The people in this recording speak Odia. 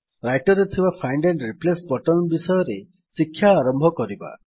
ରାଇଟର୍ ରେ ଥିବା ଫାଇଣ୍ଡ ଆଣ୍ଡ୍ ରିପ୍ଲେସ୍ ବଟନ୍ ବିଷୟରେ ଶିକ୍ଷା ଆରମ୍ଭ କରିବା